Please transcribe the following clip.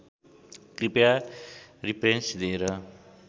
कृपया रिप्रेन्स दिएर